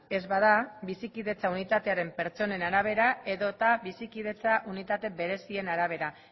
ez bada bizikidetza unitatearen pertsonen arabera edota bizikidetza unitate berezien arabera